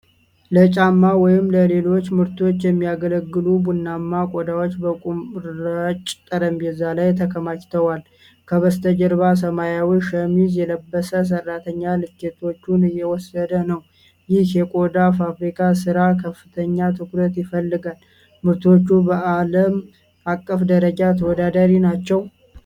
ለጫማ ወይም ለሌሎች ምርቶች የሚያገለግሉ ቡናማ ቆዳዎች በመቁረጫ ጠረጴዛ ላይ ተከማችተዋል። ከበስተጀርባ ሰማያዊ ሸሚዝ የለበሰ ሰራተኛ ልኬቶችን እየወሰደ ነው። ይህ የቆዳ ፋብሪካ ስራ ከፍተኛ ትኩረት ይፈልጋል፤ ምርቶቹ በዓለም አቀፍ ደረጃ ተወዳዳሪ ናቸው?